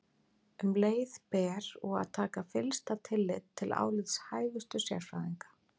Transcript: Um leið ber og að taka fyllsta tillit til álits hæfustu sérfræðinga.